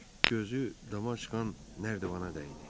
Gözü dama çıxan nərdivana dəydi.